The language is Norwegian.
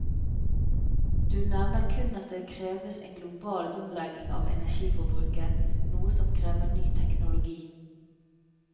Du nevner kun at det kreves en global omlegging av energiforbruket, noe som krever ny teknologi.